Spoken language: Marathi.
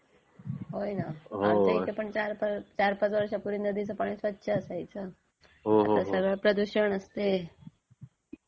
होय न. आमच्या इथे पण चार पाच वर्षांपूर्वी नदीचे पाणी स्वच्छ असायचं, आता सगळे प्रदूषण असते.